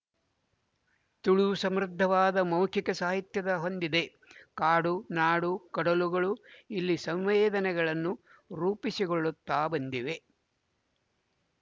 ತುಳು ಸಮೃದ್ಧವಾದ ಮೌಖಿಕ ಸಾಹಿತ್ಯದ ಹೊಂದಿದೆ ಕಾಡು ನಾಡು ಕಡಲುಗಳು ಇಲ್ಲಿನ ಸಂವೇದನೆಗಳನ್ನು ರೂಪಿಸಿಗೊಳ್ಳುತ್ತ ಬಂದಿವೆ